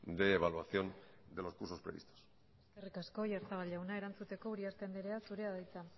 de evaluación de los cursos previstos eskerrik asko oyarzabal jauna erantzuteko uriarte anderea zurea da hitza